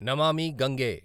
Namami Gange